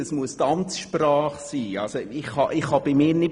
Es muss die Amtssprache sein.